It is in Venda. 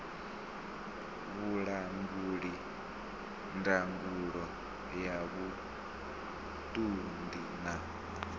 vhulanguli ndangulo ya vhuṱundi na